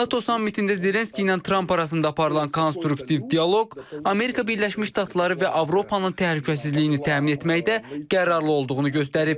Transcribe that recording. NATO sammitində Zelenski ilə Tramp arasında aparılan konstruktiv dialoq Amerika Birləşmiş Ştatları və Avropanın təhlükəsizliyini təmin etməkdə qərarlı olduğunu göstərib.